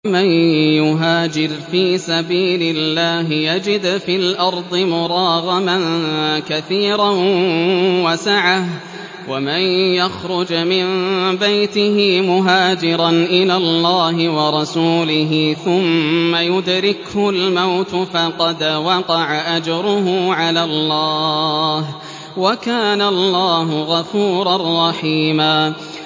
۞ وَمَن يُهَاجِرْ فِي سَبِيلِ اللَّهِ يَجِدْ فِي الْأَرْضِ مُرَاغَمًا كَثِيرًا وَسَعَةً ۚ وَمَن يَخْرُجْ مِن بَيْتِهِ مُهَاجِرًا إِلَى اللَّهِ وَرَسُولِهِ ثُمَّ يُدْرِكْهُ الْمَوْتُ فَقَدْ وَقَعَ أَجْرُهُ عَلَى اللَّهِ ۗ وَكَانَ اللَّهُ غَفُورًا رَّحِيمًا